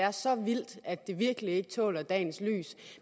er så vildt at det virkelig ikke tåler dagens lys